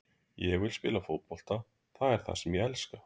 Ég vill spila fótbolta, það er það sem ég elska.